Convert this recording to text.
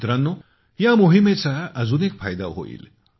मित्रांनो या मोहिमेचा अजून एक फायदा होईल